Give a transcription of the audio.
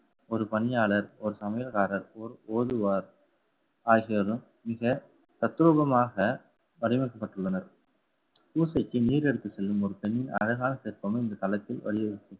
ஒரு பணியாளர் ஒரு சமையல்காரர் ஒரு ஓதுவார் ஆகியோரும் மிக தத்ரூபமாக வடிவமைக்கப்பட்டுள்ளனர். பூசைக்கு நீர் எடுத்து செல்லும் ஒரு பெண்ணின் அழகான சிற்பங்கள் இந்த தளத்தில் வழி வகுக்கும்.